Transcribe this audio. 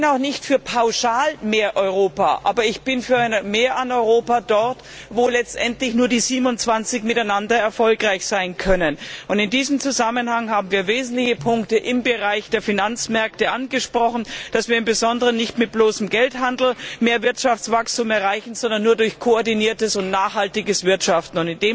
Ich bin nicht pauschal für mehr Europa, aber ich bin für ein Mehr an Europa dort, wo letztendlich nur die 27 miteinander erfolgreich sein können. In diesem Zusammenhang haben wir wesentliche Punkte im Bereich der Finanzmärkte angesprochen und darauf hingewiesen, dass wir im Besonderen nicht mit bloßem Geldhandel mehr Wirtschaftswachstum erreichen, sondern nur durch koordiniertes und nachhaltiges Wirtschaften.